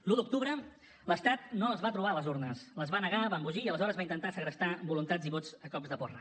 l’un d’octubre l’estat no les va trobar les urnes les va negar va embogir i aleshores va intentar segrestar voluntats i vots a cops de porra